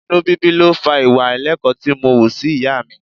Inú bíbí ló fa ìwà àìlẹ́kọ̀ọ́ tí mo wù sí ìyá mi.